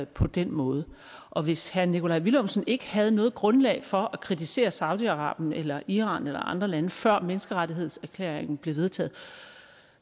på den måde og hvis herre nikolaj villumsen ikke havde noget grundlag for at kritisere saudi arabien eller iran eller andre lande før menneskerettighedserklæringen blev vedtaget